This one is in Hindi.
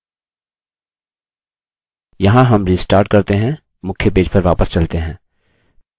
यहाँ हम रिस्टार्ट करते हैं मुख्य पेज पर वापस चलते हैं